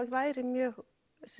væri mjög